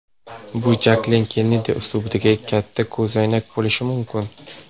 Bu Jaklin Kennedi uslubidagi katta ko‘zoynak bo‘lishi mumkin.